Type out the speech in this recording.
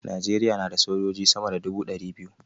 Najeriya na da sojoji sama da dubu ɗari biyu